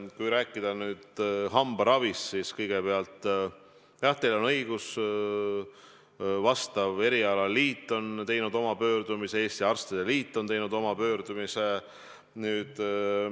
Kui rääkida hambaravist, siis jah, teil on õigus, erialaliit on teinud oma pöördumise, Eesti Arstide Liit on teinud oma pöördumise.